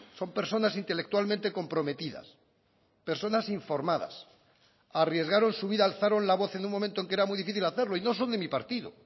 son personas intelectualmente comprometidas personas informadas arriesgaron su vida alzaron la voz en un momento en que era muy difícil hacerlo y no son de mi partido